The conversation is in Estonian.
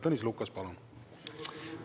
Tõnis Lukas, palun!